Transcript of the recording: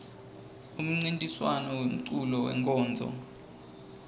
umncintiswam wemeculo wenkonzo